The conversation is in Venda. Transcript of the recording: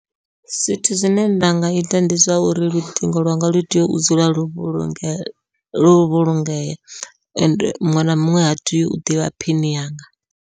Zwithu zwine nda nga ita ndi zwa uri luṱingo lwanga lu tea u dzula lwo vhulungea lwo vhulungea, ende muṅwe na muṅwe ha tei u ḓivha phini yanga.